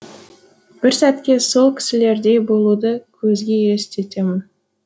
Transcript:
бір сәтке сол кісілердей болуды көзге елестетемін